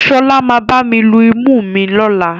Ṣọlá máa bá mi lu imú mi lọ́la.